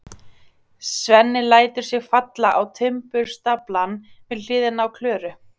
Svenni lætur sig falla á timburstaflann við hliðina á Klöru.